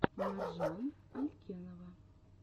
маржан алькенова